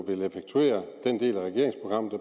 vil effektuere den del af regeringsprogrammet